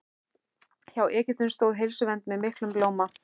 Hjá Egyptum stóð heilsuvernd með miklum blóma.